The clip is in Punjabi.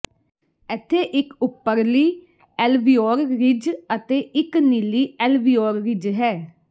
ਇੱਥੇ ਇਕ ਉੱਪਰਲੀ ਐਲਵੀਓਰ ਰਿਜ ਅਤੇ ਇਕ ਨੀਲੀ ਐਲਵੀਓਰ ਰਿਜ ਹੈ